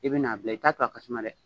I bi n'a bila i t'a to a ka suma dɛ!